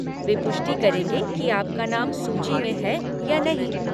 वे पुष्टि करेंगे कि आपका नाम सूची में है या नहीं।